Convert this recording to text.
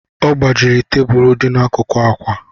Ọ gbajiri tebulu dị n'akụkụ ákwà